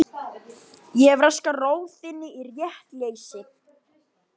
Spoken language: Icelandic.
Ég hef raskað ró þinni í réttleysi.